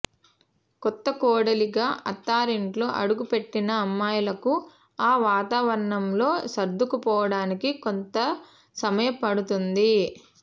కొత్త కోడలిగా అత్తారింట్లో అడుగుపెట్టిన అమ్మాయిలకు ఆ వాతావరణంలో సర్దుకుపోవడానికి కొంత సమయం పడుతుంది